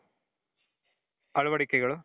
ಅಳವಡಿಕೆಗಳು .